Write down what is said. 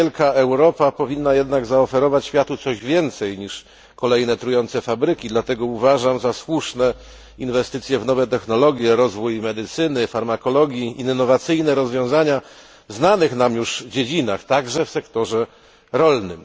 Niewielka Europa powinna jednak zaoferować światu więcej niż kolejne trujące fabryki, dlatego uważam za słuszne inwestycje w nowe technologie, rozwój medycyny, farmakologii, innowacyjne rozwiązania w znanych nam już dziedzinach, także w sektorze rolnym.